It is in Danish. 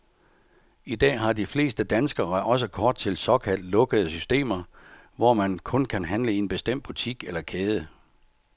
Idag har de fleste danskere også kort til såkaldt lukkede systemer, hvor man kun kan handle i en bestemt butik eller kæde.